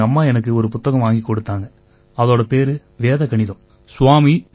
அப்பத்தான் எங்கம்மா எனக்கு ஒரு புத்தகம் வாங்கிக் கொடுத்தாங்க அதோட பேரு வேத கணிதம்